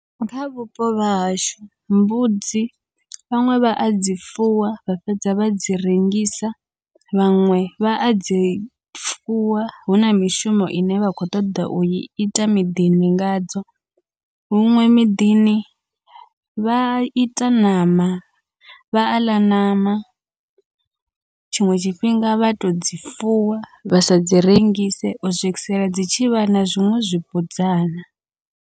Kha vhupo vhahashu mbudzi vhaṅwe vha adzi fuwa vha fhedza vha dzi rengisa, vhaṅwe vha adzi fuwa huna mishumo ine vha khou ṱoḓa ui ita miḓini ngadzo, huṅwe miḓini vha ita ṋama vha aḽa ṋama tshiṅwe tshifhinga vha todzi fuwa vha sadzi rengise u swikisela dzi tshivha na zwiṅwe zwibudzana.